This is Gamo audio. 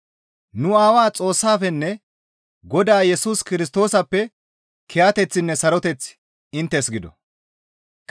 nu Aawaa Xoossafenne Godaa Yesus Kirstoosappe kiyateththinne saroteththi inttes gido.